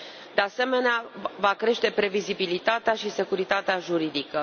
De asemenea, va crește previzibilitatea și securitatea juridică.